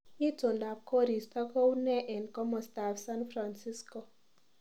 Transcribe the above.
Itondap koristo kounee eng komostab san fransisko